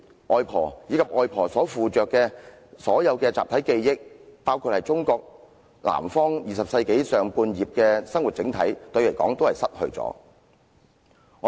外婆，以及外婆所附着的集體記憶——中國南方20世紀上半葉的生活整體，對於我是失去了。